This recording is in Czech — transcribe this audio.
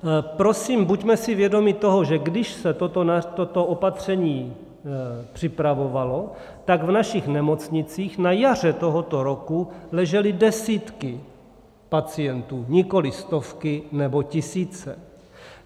Prosím, buďme si vědomi toho, že když se toto opatření připravovalo, tak v našich nemocnicích na jaře tohoto roku ležely desítky pacientů, nikoli stovky nebo tisíce.